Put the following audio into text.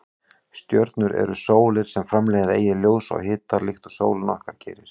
Stjörnur eru sólir sem framleiða eigið ljós og hita líkt og sólin okkar gerir.